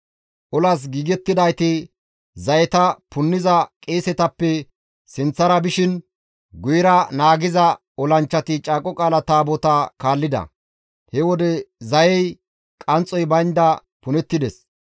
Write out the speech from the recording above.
Olas giigettidayti zayeta punniza qeesetappe sinththara bishin guyera naagiza olanchchati Caaqo Qaala Taabotaa kaallida; he wode zayey qanxxoy baynda punettides.